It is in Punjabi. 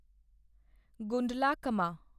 ਗੁੰਡਲਕੰਮਾ